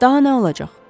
Daha nə olacaq?